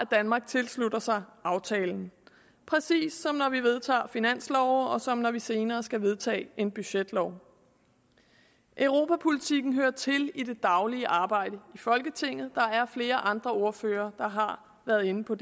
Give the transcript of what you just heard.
danmark tilslutter sig aftalen præcis som når vi vedtager finansloven og som når vi senere skal vedtage en budgetlov europapolitikken hører til i det daglige arbejde i folketinget der er flere andre ordførere der har været inde på